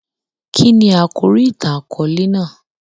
Kíni àkòrí ìtàn-àkóòlè náà?